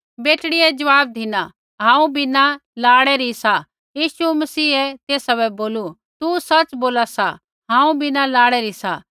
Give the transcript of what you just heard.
बेटड़ियै ज़वाब धिना हांऊँ बिना लाड़ै री सा मसीह यीशुऐ तेसा बै बोलू तू सच़ बोला सा हांऊँ बिना लाड़ै री सा